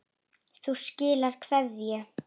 Þú skilar kveðju.